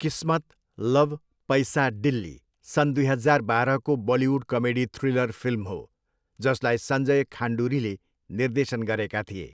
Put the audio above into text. किस्मत love Paisa Dilli सन् दुई हजार बाह्रको बलिउड कमेडी थ्रिलर फिल्म हो जसलाई सञ्जय खान्डुरीले निर्देशन गरेका थिए।